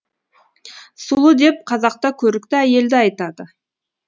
сұлу деп қазақта көрікті әйелді айтады